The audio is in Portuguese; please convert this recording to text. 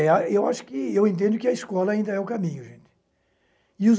É, eu acho que, eu entendo que a escola ainda é o caminho, gente. E